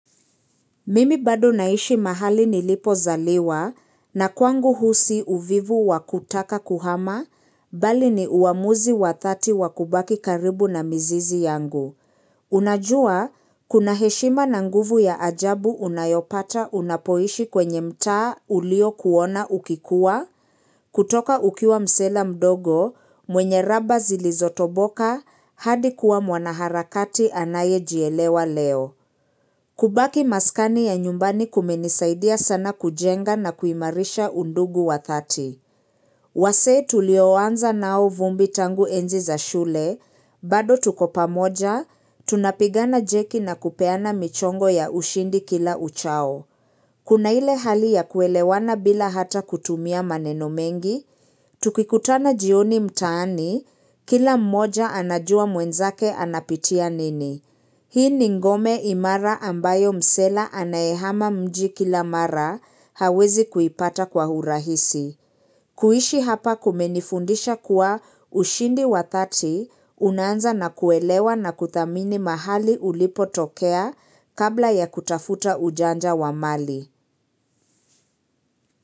Mimi bado naishi mahali nilipozaliwa, na kwangu huu si uvivu wakutaka kuhama, bali ni uamuzi wadhati wakubaki karibu na mizizi yangu. Unajua, kuna heshima na nguvu ya ajabu unayopata unapoishi kwenye mtaa uliokuona ukikuwa, kutoka ukiwa msela mdogo, mwenye raba zilizotoboka, hadi kuwa mwanaharakati anaye jielewa leo. Kubaki maskani ya nyumbani kumenisaidia sana kujenga na kuimarisha undugu wa thati. Wasee tulioanza nao vumbi tangu enzi za shule, bado tuko pamoja, tunapigana jeki na kupeana michongo ya ushindi kila uchao. Kuna ile hali ya kuelewana bila hata kutumia maneno mengi, tukikutana jioni mtaani, kila mmoja anajua mwenzake anapitia nini. Hii ni ngome imara ambayo msela anayehama mji kila mara hawezi kuipata kwa hurahisi. Kuishi hapa kumenifundisha kuwa ushindi wa thati unaanza na kuelewa na kuthamini mahali ulipotokea kabla ya kutafuta ujanja wa mali.